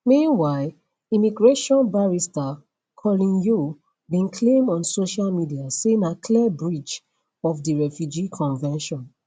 meanwhile immigration barrister colin yeo bin claim on social media say na clear breach of di refugee convention